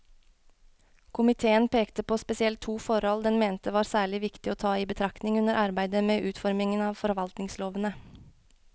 Komiteen pekte på spesielt to forhold den mente var særlig viktig å ta i betraktning under arbeidet med utformingen av forvaltningslovene.